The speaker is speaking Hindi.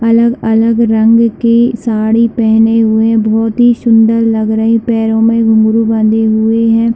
अलग -अलग रंग के साड़ी पहने हुए बहुत ही सुंदर लग रही पैर में घुंघरू बंधे हुए हैं।